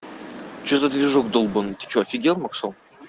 че за движок долбаный ты что офигел максон